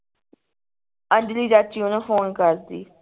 ਅੰਜਲੀ ਚਾਚੀ ਓਹਨੂੰ ਫੋਨ ਕਰਦੀ